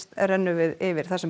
renna yfir það sem